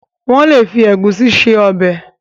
wón lè fi Egusi ṣe Ọbẹ̀